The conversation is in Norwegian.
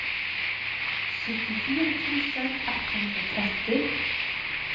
syttifire tusen ett hundre og tretti